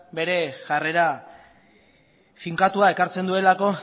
bere jarrera finkatua ekartzen duelako